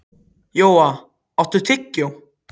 Jóa, áttu tyggjó?